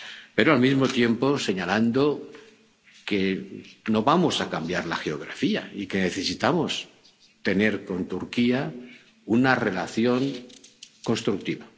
pero, al mismo tiempo, señalando que no vamos a cambiar la geografía y que necesitamos tener con Turquía una relación constructiva.